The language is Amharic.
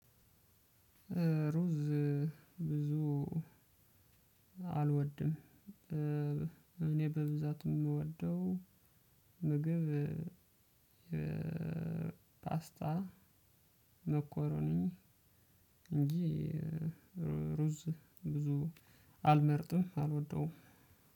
ሩዝ ብዙ አልወድም። እኔ በብዛት የምወደው ምግብ የፓስታ መኮረኒ እንጂ ሩዝ ብዙ አልመርጥም አልወደውም።